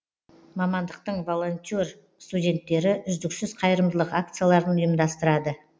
мамандықтың волонтер студенттері үздіксіз қайырымдылық акцияларын ұйымдастырады